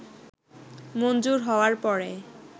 মঞ্জুর হওয়ার পরে